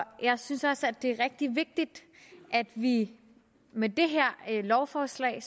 jeg synes også det er rigtig vigtigt at vi med det her lovforslag